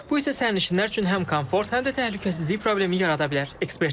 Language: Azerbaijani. Bu isə sərnişinlər üçün həm komfort, həm də təhlükəsizlik problemi yarada bilər.